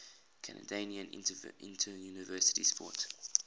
canadian interuniversity sport